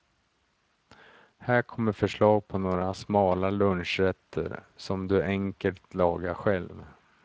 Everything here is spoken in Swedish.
Här kommer förslag på några smala lunchrätter som du enkelt lagar själv.